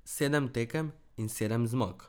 Sedem tekem in sedem zmag.